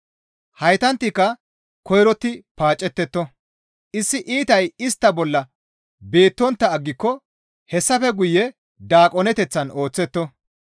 Haytantika koyrotti paacettetto; issi iitay istta bolla beettontta aggiko hessafe guye daaqoneteththan ooththetto.